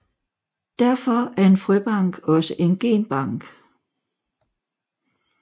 Derfor er en frøbank også en genbank